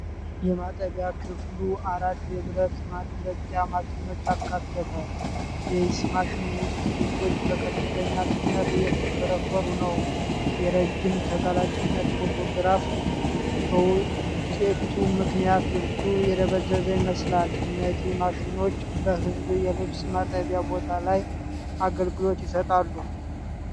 የማጠቢያ ክፍሉ አራት የብረት ማድረቂያ ማሽኖችን አካተተ። የፊት ማሽን ውስጥ ልብሶች በከፍተኛ ፍጥነት እየተሽከረከሩ ነው። የረጅም ተጋላጭነት ፎቶግራፍ በውጤቱ ምክንያት ልብሱ የደበዘዘ ይመስላል። እነዚህ ማሽኖች በሕዝብ የልብስ ማጠቢያ ቦታ ላይ አገልግሎት ይሰጣሉ።